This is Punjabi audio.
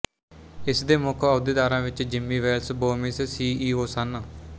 ਇਸ ਦੇ ਮੁੱਖ ਅਹੁਦੇਦਾਰਾਂ ਵਿੱਚ Jimmy Wales Bomis C E O ਸਨ